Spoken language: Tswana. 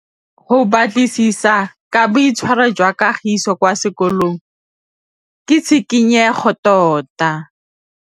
Go batlisisa ka boitshwaro jwa Kagiso kwa sekolong ke tshikinyêgô tota.